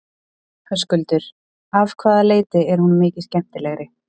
Höskuldur: Af hvaða leyti er hún mikið skemmtilegri?